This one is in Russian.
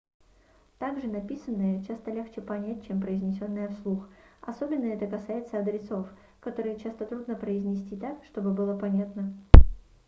также написанное часто легче понять чем произнесенное вслух особенно это касается адресов которые часто трудно произнести так чтобы было понятно